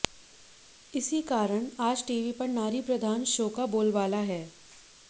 इसी कारण आज टीवी पर नारी प्रधान शो का बोलबाला है